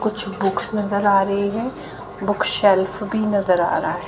कुछ बुक्स नज़र आ रही हैं बुक सेल्फ भी नज़र आ रहा--